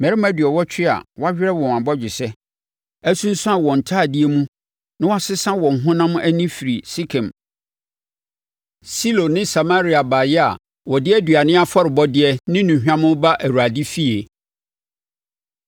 mmarima aduɔwɔtwe a wɔawerɛ wɔn bɔgyesɛ, asunsuane wɔn ntadeɛ mu na wɔasesa wɔn honam ani firi Sekem, Silo ne Samaria baeɛ a wɔde aduane afɔrebɔdeɛ ne nnuhwam reba Awurade efie.